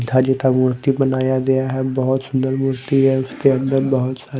का मुर्ति बनाया गया है बहुत सुंदर मूर्ति है उसके अंदर बहुत सारे--